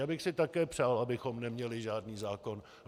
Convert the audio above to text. Já bych si také přál, abychom neměli žádný zákon.